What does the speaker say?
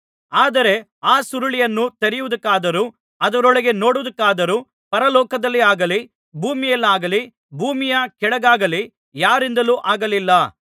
ಆದರೆ ಆ ಸುರುಳಿಯನ್ನು ತೆರೆಯುವುದಕ್ಕಾದರೂ ಅದರೊಳಗೆ ನೋಡುವುದಕ್ಕಾದರೂ ಪರಲೋಕದಲ್ಲಿಯಾಗಲಿ ಭೂಮಿಯಲ್ಲಿಯಾಗಲಿ ಭೂಮಿಯ ಕೆಳಗಾಗಲಿ ಯಾರಿಂದಲೂ ಆಗಲಿಲ್ಲ